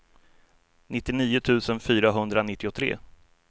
nittionio tusen fyrahundranittiotre